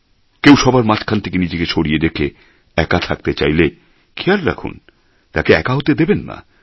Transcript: কেউ সবার মাঝখান থেকে নিজেকে সরিয়ে রেখে একা থাকতে চাইলে খেয়াল রাখুন তাকে একা হতে দেবেন না